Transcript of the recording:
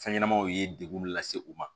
Fɛn ɲɛnɛmaw ye degun mun lase u ma